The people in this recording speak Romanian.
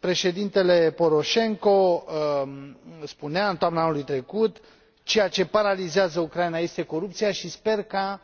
Președintele Poroșenko spunea în toamna anului trecut că ceea ce paralizează Ucraina este corupția și sper ca